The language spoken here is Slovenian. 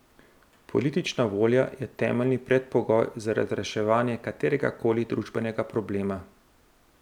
Politična volja je temeljni predpogoj za razreševanje kateregakoli družbenega problema.